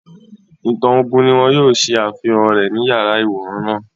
Ìtàn ogún ni wọ́n yóò ṣe àfihàn rẹ̀ ní yàrá-ìwòran náà